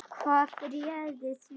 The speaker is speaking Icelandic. Hvað réði því?